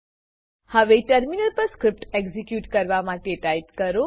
હવે ટર્મિનલ પર script execute કરવા માટે ટાઈપ કરો